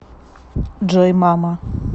джой мама